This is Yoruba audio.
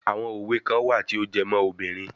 Àwọn òwe kan wà tí ó jẹ́ mọ́ obìnrin.